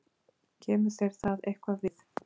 Kemur þér það eitthvað við?